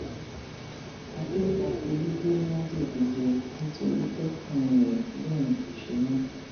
akẹkọọ pọlì gbé májèlé jẹ nítorí tọkùnrin ẹ lòun kò ṣe mọ